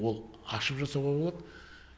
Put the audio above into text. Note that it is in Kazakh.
ол ашып жасауға болады